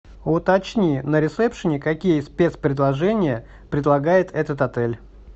уточни на ресепшене какие спецпредложения предлагает этот отель